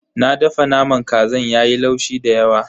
Na dafa naman kazan yayi laushi dayawa.